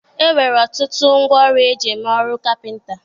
E nwere ọtụtụ ngwa ọrụ e ji eme ọrụ kapịnta.